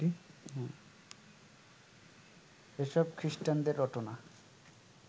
এসব খিস্টানদের রটনা